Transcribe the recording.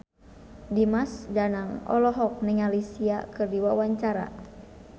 Dimas Danang olohok ningali Sia keur diwawancara